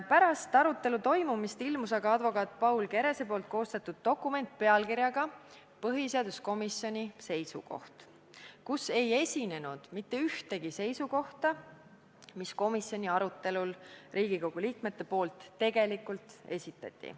Pärast arutelu toimumist ilmus aga välja advokaat Paul Kerese koostatud dokument pealkirjaga "Põhiseaduskomisjoni seisukoht", kus ei ole kirjas mitte ühtegi seisukohta, mis komisjoni arutelul Riigikogu liikmed tegelikult esitasid.